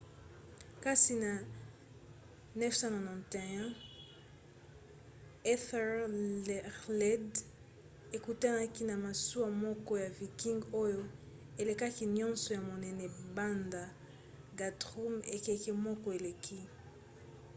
kasi na 991 ethelred ekutanaki na masuwa moko ya viking oyo elekaki nyonso na monene banda guthrum ekeke moko eleki